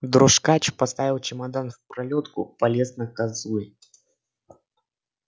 дрожкач поставил чемодан в пролётку полез на козлы